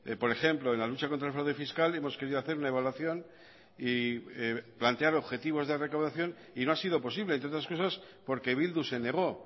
por ejemplo en la lucha contra el fraude fiscal hemos querido hacer una evaluación y plantear objetivos de recaudación y no ha sido posible entre otras cosas porque bildu se negó